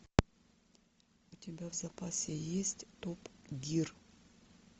у тебя в запасе есть топ гир